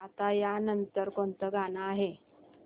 आता या नंतर कोणतं गाणं आहे